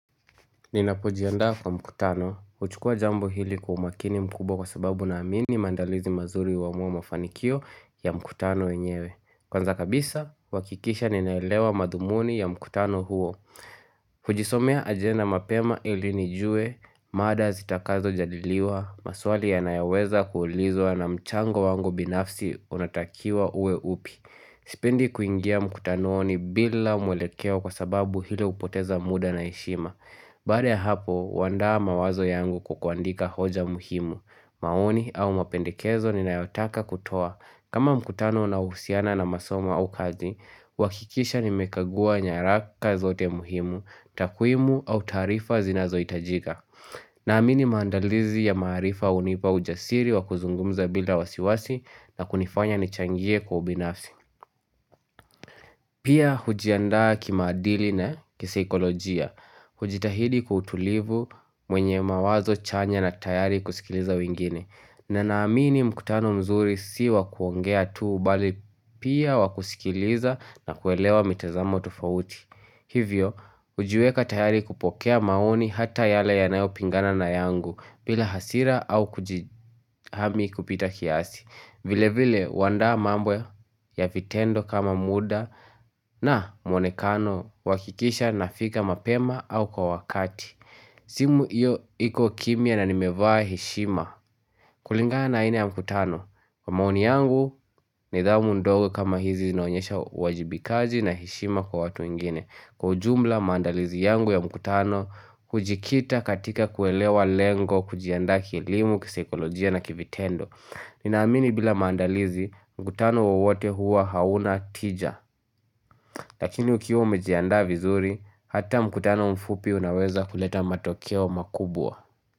Ninapojiandaa kwa mkutano, huchukua jambo hili kwa umakini mkubwa kwa sababu na amini mandalizi mazuri huamua mafanikio ya mkutano enyewe Kwanza kabisa, huhakikisha ninaelewa madhumuni ya mkutano huo kujisomea ajenda mapema ilinijue, mada zitakazo jadiliwa, maswali ya nayaweza kuulizwa na mchango wango binafsi unatakiwa uwe upi Sipendi kuingia mkutanoni bila mwelekeo kwa sababu hili hupoteza muda na heshima Baada ya hapo, huandaa mawazo yangu kwa kuandika hoja muhimu. Maoni au mapendekezo ninayotaka kutoa. Kama mkutano unahusiana na masoma au kazi, huhakikisha nimekagua nyaraka zote muhimu, takwimu au tarifa zinazohitajika. Naamini mandalizi ya maarifa hunipa ujasiri wa kuzungumza bila wasiwasi na kunifanya nichangie kwa ubinafsi. Pia hujiandaa kimaadili na kisaikolojia, hujitahidi kwa utulivu mwenye mawazo chanya na tayari kusikiliza wingine na naamini mkutano mzuri si wa kuongea tu bali pia wakusikiliza na kuelewa mitazamo tufauti Hivyo, hujiweka tayari kupokea maoni hata yale yanayopingana na yangu, bila hasira au kujihami kupita kiasi vile vile huandaa mambo ya vitendo kama muda na mwonekano huhakikisha nafika mapema au kwa wakati simu hiyo iko kimya na nimevaa heshima Kulinga na aina ya mkutano Kwa maoni yangu ni dhamu ndogo kama hizi zinaonyesha uwajibikaji na heshima kwa watu wengine Kwa ujumla maandalizi yangu ya mkutano kujikita katika kuelewa lengo kujiandaa kielimu kisaikolojia na kivitendo Ninaamini bila mandalizi mkutano wowote huwa hauna tija Lakini ukiwa umejiandaa vizuri hata mkutano mfupi unaweza kuleta matokeo makubwa.